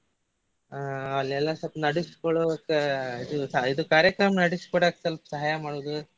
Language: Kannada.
ಹಾ ಅಲ್ಲೆಲ್ಲ ಸ್ವಲ್ಪ ನಡಸ್ಕೊಳ್ಳಾಕ ಇದು ಇದು ಕಾರ್ಯಕ್ರಮ ನಡಿಸಿಕೊಡಾಕ್ ಸ್ವಲ್ಪ ಸಹಾಯ ಮಾಡೋದು.